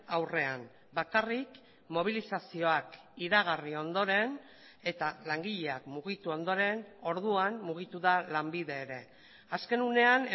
aurrean bakarrik mobilizazioak iragarri ondoren eta langileak mugitu ondoren orduan mugitu da lanbide ere azken unean